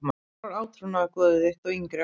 Hver var átrúnaðargoð þitt á yngri árum?